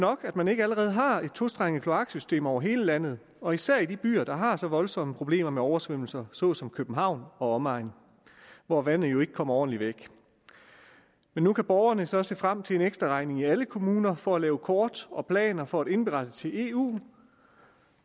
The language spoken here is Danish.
at man ikke allerede har et tostrenget kloaksystem over hele landet og især i de byer der har så voldsomme problemer med oversvømmelser såsom københavn og omegn hvor vandet jo ikke kommer ordentligt væk nu kan borgerne så se frem til en ekstra regning i alle kommuner for at lave kort og planer for at indberette til eu